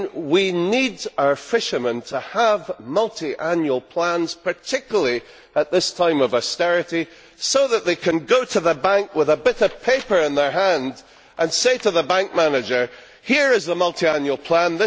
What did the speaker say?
We need our fishermen to have multiannual plans, particularly at this time of austerity, so that they can go to the bank with a bit of paper in their hand and say to the bank manager Here is the multiannual plan.